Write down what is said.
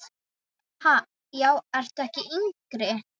Ha, já ertu ekki yngri!